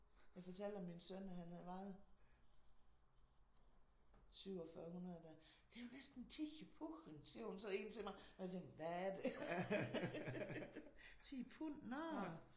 Jeg fortalte om min søn at han han vejede 4700 da. Det er jo næsten 10 pund siger hun så en til mig. Og jeg tænker hvad er det? 10 pund nå